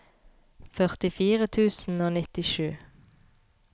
førtifire tusen og nittisju